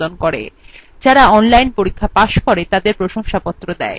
যারা online পরীক্ষা pass করে তাদের প্রশংসাপত্র দেয়